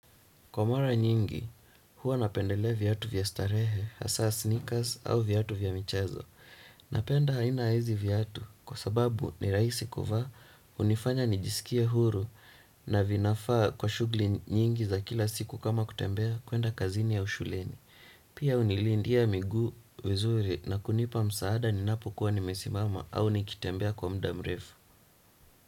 Kwa mara nyingi, huwa napendelea viatu vya starehe, hasa sneakers au viatu vya michezo. Napenda aina ya hizi viatu kwa sababu ni rahisi kuvaa, hunifanya nijisikie huru na vinafaa kwa shughuli nyingi za kila siku kama kutembea, kuenda kazini au shuleni. Pia hunilindia miguu vizuri na kunipa msaada ninapokuwa nimesimama au nikitembea kwa muda mrefu.